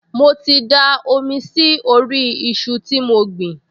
Mo ti da omi sí orí iṣu tí mo gbìn